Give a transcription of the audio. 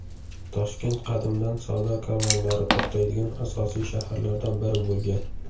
Toshkent qadimdan savdo karvonlari to‘xtaydigan asosiy shaharlardan biri bo‘lgan.